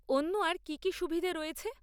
অন্য আর কি কি সুবিধে রয়েছে?